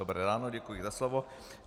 Dobré ráno, děkuji za slovo.